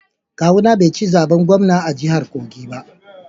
Kawuna bai ci zaben gwamna a jahar kogi ba